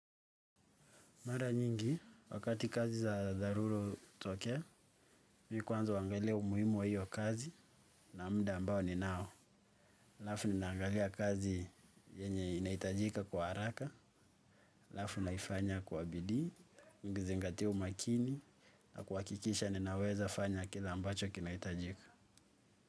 Mara nyingi, wakati kazi za dharura hutokea, mimi kwanza huangalia umuhimu wa hiyo kazi na muda ambao ni nao. Alafu ninaangalia kazi yenye inahitajika kwa haraka, alafu ninaifanya kwa bidii, nikizingatia umakini, na kuhakikisha ninaweza fanya kile ambacho kinahitajika.